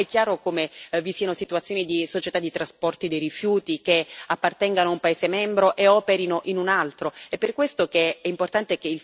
Perché nell'ambito dell'Unione europea è chiaro come vi siano situazioni di società di trasporti dei rifiuti che appartengono a un paese membro e operano in un altro.